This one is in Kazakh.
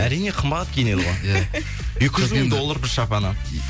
әрине қымбат киінеді ғой екі жүз мың доллар бір шапаны